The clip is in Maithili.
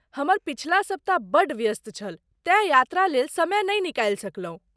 हमर पछिला सप्ताह बड्ड व्यस्त छल तेँ यात्रा लेल समय नहि निकालि सकलौं।